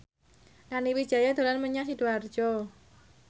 Nani Wijaya dolan menyang Sidoarjo